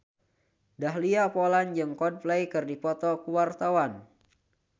Dahlia Poland jeung Coldplay keur dipoto ku wartawan